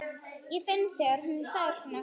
Ég finn þegar hún þagnar.